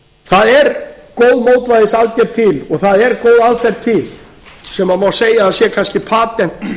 það er góð mótvægisaðgerð til og það er góð aðferð til sem má segja að sé kannski patentlausn